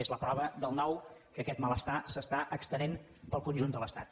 és la prova del nou que aquest malestar s’estén pel conjunt de l’estat